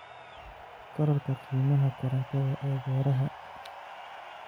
Korodhka qiimaha korontada ee beeraha.